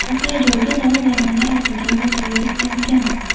Voqea joyiga dori-darmonlar ortilgan vertolyot yetkazilgan.